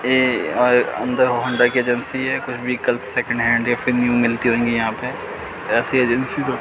ये अ अंदर होंडा की एजेंसी है कुछ व्हीकल सेकंड हैंड या फिर न्यू मिलती होगी यहां पे ऐसी एजेंसियों --